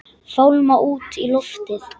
Fálma út í loftið.